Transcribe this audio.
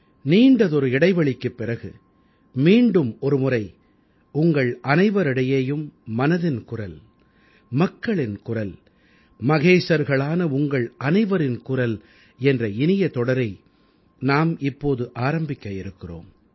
நீண்டதொரு இடைவெளிக்குப் பிறகு மீண்டும் ஒருமுறை உங்கள் அனைவரிடையேயும் மனதின் குரல் மக்களின் குரல் மகேசர்களான உங்கள் அனைவரின் குரல் என்ற இனிய தொடரை நாம் இப்போது ஆரம்பிக்க இருக்கிறோம்